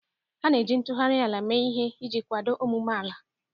A na-eji ntụgharị ala mee ihe iji kwado ọmụmụ ala.